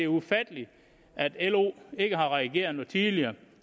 ufatteligt at lo ikke har reageret noget tidligere